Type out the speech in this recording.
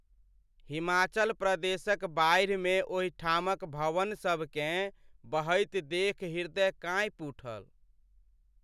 हिमाचल प्रदेशक बाढ़िमे ओहिठामक भवनसभकेँ बहैत देखि हृदय काँपि उठल।